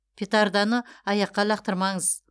петарданы аяққа лақтырмаңыз